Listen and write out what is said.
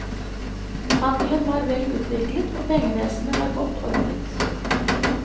Handelen var vel utviklet og pengevesenet var godt ordnet.